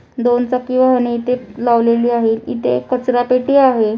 दोन चाकी वाहने इथे लावलेली आहेत. इथे एक कचरापेठी आहे.